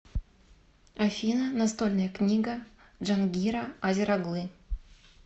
афина настольная книга джангира азер оглы